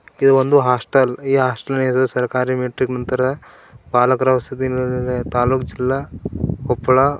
ಇದು ಒಂದ ಹಾಸ್ಟೆಲ್ ಇ ಹಾಸ್ಟೆಲ ನ ಹೆಸರು ಸರ್ಕಾರಿ ಮೆಟ್ರಿಕ ನಂತರ ಬಾಲಕರ ವಸತಿ ನಿಲಯ ತಾಲೂಕ ಜಿಲ್ಲಾ ಕೊಪ್ಪಳಾ--